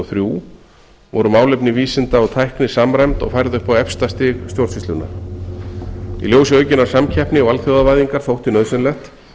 og þrjú voru málefni vísinda og tækni samræmd og færð upp á efsta stig stjórnsýslunnar í ljósi aukinnar samkeppni og alþjóðavæðingar þótti nauðsynlegt